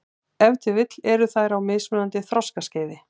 Ef til vill eru þær á mismunandi þroskaskeiði.